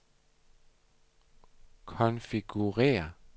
konfigurér